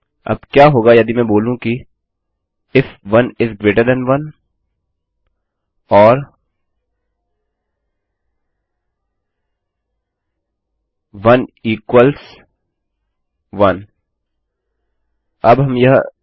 अब क्या होगा यदि मैं बोलूँ कि if 1 is greater than 1 or 1 equals 1इफ 1 1 से बड़ा है या 1 1 के बराबर है